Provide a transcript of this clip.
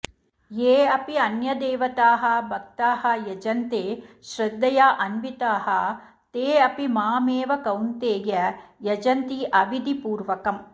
ये अपि अन्यदेवताः भक्ताः यजन्ते श्रद्धया अन्विताः ते अपि माम् एव कौन्तेय यजन्ति अविधिपूर्वकम्